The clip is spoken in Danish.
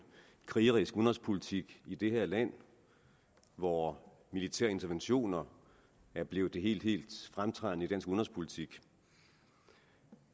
krigerisk udenrigspolitik i det her land hvor militære interventioner er blevet det helt fremtrædende i dansk udenrigspolitik